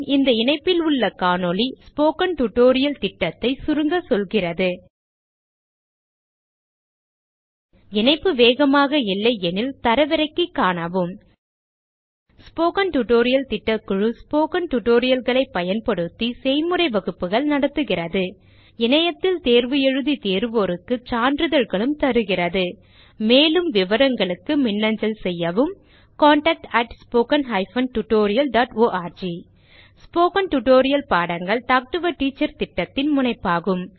இந்த இணைப்பில் உள்ள காணொளி ஸ்போக்கன் டியூட்டோரியல் திட்டத்தை சுருங்க சொல்கிறது இணைப்பு வேகமாக இல்லையெனில் தரவிறக்கி காணவும் ஸ்போக்கன் டியூட்டோரியல் திட்டக்குழு ஸ்போக்கன் tutorial களைப் பயன்படுத்தி செய்முறை வகுப்புகள் நடத்துகிறது இணையத்தில் தேர்வு எழுதி தேர்வோருக்கு சான்றிதழ்களும் அளிக்கிறது மேலும் விவரங்களுக்கு மின்னஞ்சல் செய்யவும் contactspoken tutorialorg ஸ்போகன் டுடோரியல் பாடங்கள் டாக் டு எ டீச்சர் திட்டத்தின் முனைப்பாகும்